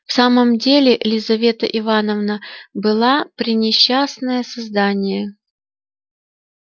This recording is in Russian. в самом деле лизавета ивановна была пренесчастное создание